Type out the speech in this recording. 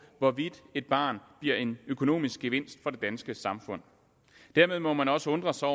hvorvidt et barn bliver en økonomisk gevinst for det danske samfund dermed må man også undre sig